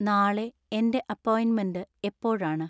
നാളെ എന്‍റെ അപ്പോയിന്റ്മെന്റ് എപ്പോഴാണ്?